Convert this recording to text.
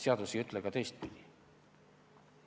Seadus ei ütle ka teistpidi.